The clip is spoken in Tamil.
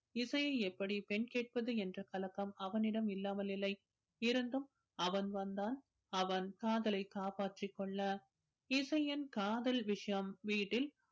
இசையை எப்படி பெண் கேட்பது என்ற கலக்கம் அவனிடம் இல்லாமல் இல்லை இருந்தும் அவன் வந்தால் அவன் காதலை காப்பாற்றிக் கொள்ள இசையின் காதல் விஷயம் வீட்டில்